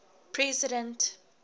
president